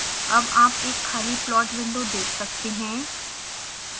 अब आप एक खाली प्लॉट विंडो देख सकते हैं